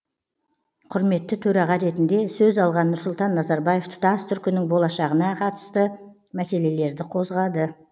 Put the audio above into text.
құрметті төраға ретінде сөз алған нұрсұлтан назарбаев тұтас түркінің болашағына қатысты мәселелерді қозғады